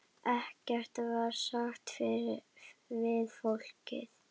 Ekkert var sagt við fólkið.